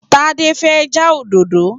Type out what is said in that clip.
Tádé fẹ́ já òdòdó